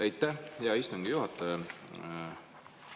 Aitäh, hea istungi juhataja!